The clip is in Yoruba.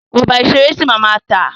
Ọgbà ìṣẹ̀rẹ́ sì máa ma tà.